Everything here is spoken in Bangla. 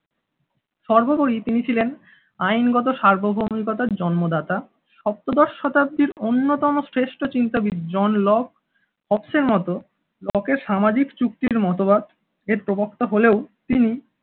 সর্বোপরি তিনি ছিলেন আইনগত সার্বভৌমিকতার জন্মদাতা সপ্তদশ শতাব্দীর অন্যতম শ্রেষ্ঠ চিন্তাবিদ জন লব অপসের মতো লকের সামাজিক চুক্তির মতবাদের প্রবক্তা হলেও তিনি